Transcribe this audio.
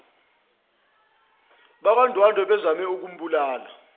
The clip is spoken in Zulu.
bakwandwandwe bezame ukumbulala